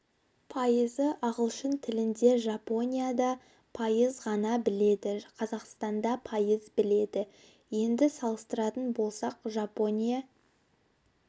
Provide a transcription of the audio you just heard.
пайызы ағылшын тілінде жапония да пайыз ғана біледі қазақстанда пайыз біледі енді салыстыратын болсақ жапония